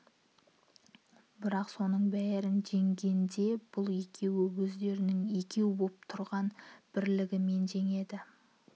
бірақ соның бәрін жеңгенде бұл екеуі өздерінің екеу боп тұрған бірлігімен жеңеді